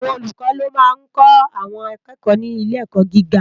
Awòn ólúkò ló má n kò áwòn àkèkò ni ilé èkò gigá